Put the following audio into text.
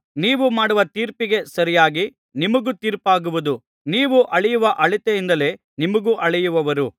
ನೀವು ಮಾಡುವ ತೀರ್ಪಿಗೆ ಸರಿಯಾಗಿ ನಿಮಗೂ ತೀರ್ಪಾಗುವುದು ನೀವು ಅಳೆಯುವ ಅಳತೆಯಿಂದಲೇ ನಿಮಗೂ ಅಳೆಯುವರು